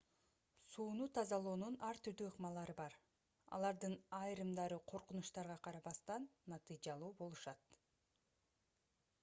сууну тазалоонун ар түрдүү ыкмалары бар алардын айрымдары коркунучтарга карабастан натыйжалуу болушат